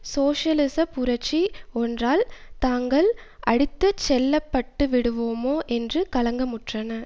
சோசியலிச புரட்சி ஒன்றால் தாங்கள் அடித்து செல்லப்பட்டுவிடுவோமோ என்று கலக்கமுற்றன